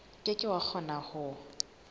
ke ke wa kgona ho